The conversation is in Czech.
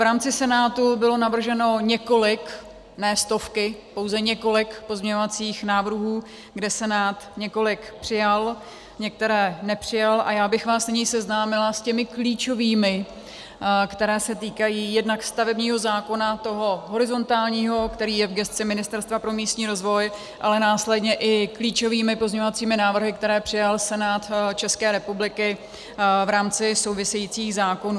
V rámci Senátu bylo navrženo několik, ne stovky, pouze několik pozměňovacích návrhů, kde Senát několik přijal, některé nepřijal, a já bych vás nyní seznámila s těmi klíčovými, které se týkají jednak stavebního zákona, toho horizontálního, který je v gesci Ministerstva pro místní rozvoj, ale následně i klíčovými pozměňovacími návrhy, které přijal Senát České republiky v rámci souvisejících zákonů.